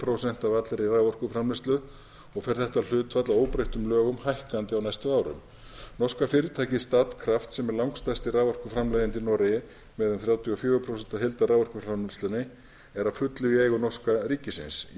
prósent af allri raforkuframleiðslu og fer þetta hlutfall að óbreyttum lögum hækkandi á næstu árum norska fyrirtækið statkraft sem er langstærsti raforkuframleiðandi í noregi með um þrjátíu og fjögur prósent af heildarraforkuframleiðslunni er að fullu í eigu norska ríkisins í